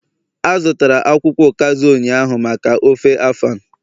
A zụtara akwukwo ukazi ụnyaahụ maka ofe afan